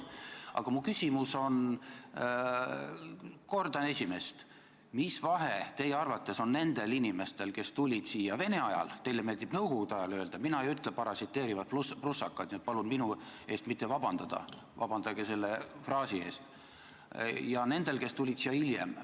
Aga mu küsimus on järgmine ja kordab esimest: mis vahe on teie arvates nendel inimestel, kes tulid siia Vene ajal, teile meeldib öelda "Nõukogude ajal" – mina ei ütle "parasiteerivad prussakad", nii et palun minu eest mitte vabandada, vabandage hoopis selle oma fraasi eest –, ja nendel, kes tulid siia hiljem?